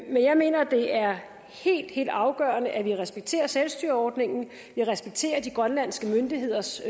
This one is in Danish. men jeg mener det er helt helt afgørende at vi respekterer selvstyreordningen vi respekterer de grønlandske myndigheders